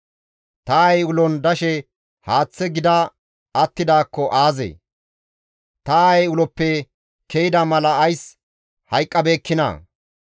«Ta aayey ulon dashe haaththe gida attidaakko aazee! Ta aayey uloppe ke7ida mala ays hayqqabeekkinaa?